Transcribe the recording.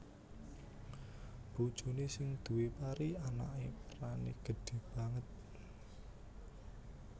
Bojoné sing duwé pari anaké perané gedhé banget